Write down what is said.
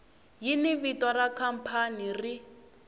yini vito ra khampani ri